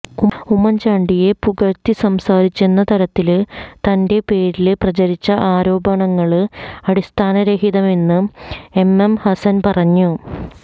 ഉമ്മന്ചാണ്ടിയെ ഇകഴ്ത്തിസംസാരിച്ചെന്ന തരത്തില് തന്റെ പേരില് പ്രചരിക്കുന്ന ആരോപണങ്ങള് അടിസ്ഥാനരഹിതമെന്ന് എംഎംഹസന് പറഞ്ഞു